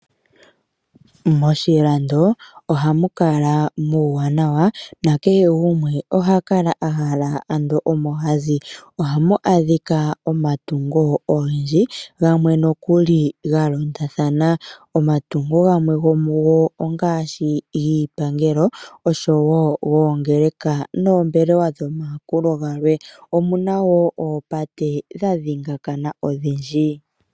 Moshilando ohamu kala nuuwanawa nakehe gumwe ohaka la a hala ando omo hazi. Ohamu adhika omatungo ogendji gamwe nokuli galondathana, omatungo gamwe gomugo ongaashi giipangelo osho woo goongeleka, moombelewa dhomayakulo gamwe. Omuna woo oopate dha dhigakana odhindji.